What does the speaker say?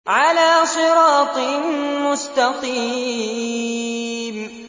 عَلَىٰ صِرَاطٍ مُّسْتَقِيمٍ